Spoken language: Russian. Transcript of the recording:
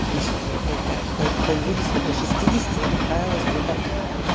лишние они появились появились вот до шестидесяти я поправилась где то